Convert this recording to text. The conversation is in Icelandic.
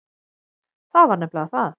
Það var nefnilega það.